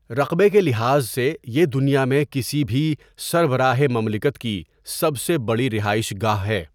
رقبے کے لحاظ سے، یہ دنیا میں کسی بھی سربراہ مملکت کی سب سے بڑی رہائش گاہ ہے۔